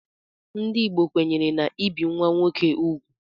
Ndị Igbo kwenyere n'ibi nwa nwoke úgwù.